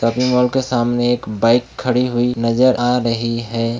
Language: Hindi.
शॉपिंग मॉल के सामने एक बाइक खड़ी हुई नजर आ रही है।